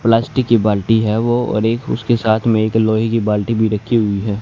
Plastic की बाल्टी है वो और एक उसके साथ में एक लोहे की बाल्टी भी रखी हुई है।